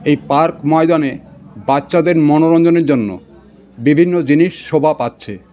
এই পার্ক ময়দানে বাচ্চাদের মনোরঞ্জনের জন্য বিভিন্ন জিনিস শোভা পাচ্ছে.